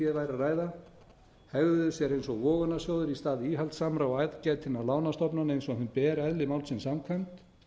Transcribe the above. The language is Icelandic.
að ræða hegðuðu sér eins og vogunarsjóðir í stað íhaldssamra og aðgætinna lánastofnana eins og þeim ber eðli málsins samkvæmt